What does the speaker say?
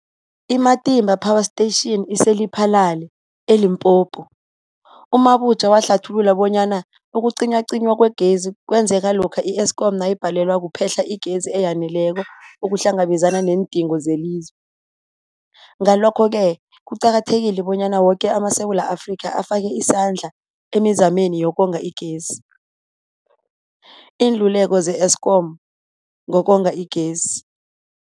I-Matimba Power Station ise-Lephalale, eLimpopo. U-Mabotja wahlathulula bonyana ukucinywacinywa kwegezi kwenzeka lokha i-Eskom nayibhalelwa kuphe-hla igezi eyaneleko ukuhlangabezana neendingo zelizwe. Ngalokho-ke kuqakathekile bonyana woke amaSewula Afrika afake isandla emizameni yokonga igezi. Iinluleko ze-Eskom ngokonga igezi.